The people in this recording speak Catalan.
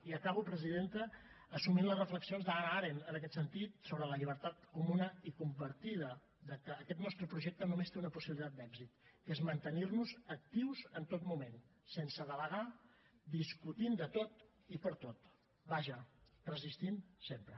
i acabo presidenta assumint les reflexions d’hannah arendt en aquest sentit sobre la llibertat comuna i compartida que aquest nostre projecte només té una possibilitat d’èxit que és mantenir nos actius en tot moment sense delegar discutint de tot i per tot vaja resistint sempre